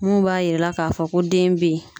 Mun b'a yira ka fɔ ko den be yen.